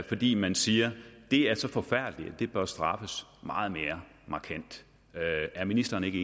fordi man siger at det er så forfærdeligt at det bør straffes meget mere markant er ministeren ikke